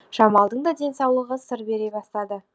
жамалдың да денсаулығы сыр бере бастады